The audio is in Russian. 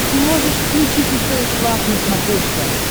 ты можешь включить стс лав на смотрешке